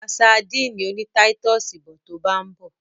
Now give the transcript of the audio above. Ra sadíìnì oní táítọ̀sì bọ̀ to bá ń bọ̀.